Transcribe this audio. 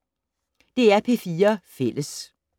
DR P4 Fælles